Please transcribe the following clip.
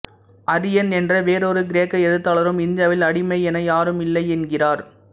Arrian என்ற வேறொரு கிரேக்க எழுத்தாளரும் இந்தியாவில் அடிமை என யாரும் இல்லை என்கிறார்